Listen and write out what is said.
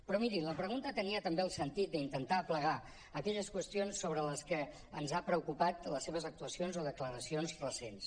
però miri la pregunta tenia també el sentit d’intentar aplegar aquelles qüestions sobre allò que ens ha preocupat de les seves actuacions o declaracions recents